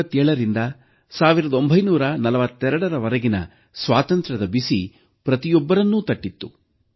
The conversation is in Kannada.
1857ರಿಂದ 1942ರ ವರೆಗೆ ಸ್ವಾತಂತ್ರ್ಯದ ಬಿಸಿ ಪ್ರತಿಯೊಬ್ಬರನ್ನೂ ತಟ್ಟಿತು